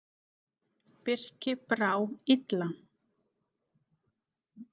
Birki brá illa.